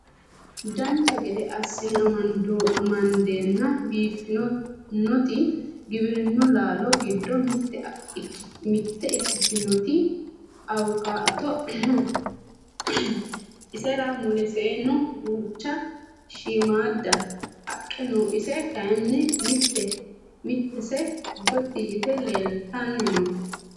dancha gede assine amandeenna biiffinoti giwirinnu laalo giddo mitte ikkitinoti awukaato no isera muleseno duucha shiimmadda haqqe no ise kayeenni mittese gotti yite leeltanni no